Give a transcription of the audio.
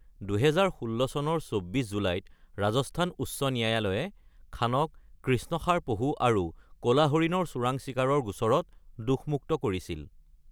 ২০১৬ চনৰ ২৪ জুলাইত ৰাজস্থান উচ্চ ন্যায়ালয়ে খানক কৃষ্ণসাৰ পহু আৰু ক'লা হৰিণৰ চোৰাং চিকাৰৰ গোচৰত দোষমুক্ত কৰিছিল।